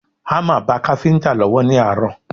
Hámà ba káfíńtà lọ́wọ́ ní àárọ̀